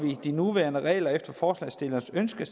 de nuværende regler efter forslagsstillernes ønske